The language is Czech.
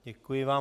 Děkuji vám.